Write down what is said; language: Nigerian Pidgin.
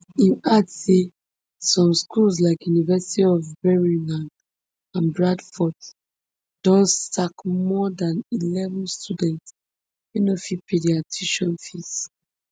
im add say some schools like university of birmingham and bradford don sack more than eleven students wey no fit pay dia tuition fees